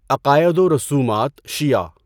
عقائد و رسومات شیعہ